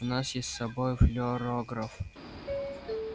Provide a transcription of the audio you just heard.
у нас есть с собой флюорограф